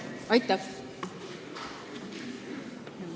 Aitäh!